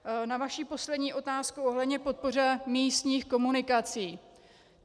Na vaši poslední otázku ohledně podpory místních komunikací.